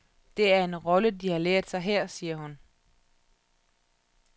Det er en rolle, de har lært sig her, siger hun.